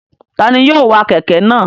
Ta ni yóò wa kẹ̀kẹ́ náà?